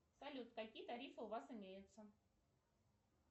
салют какие тарифы у вас имеются